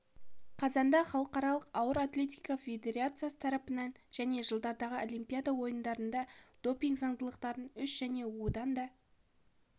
қазанда халықаралық ауыр атлетика федерациясы тарапынан және жылдардағы олимпиада ойындарында допинг заңдылықтарын үш және одан да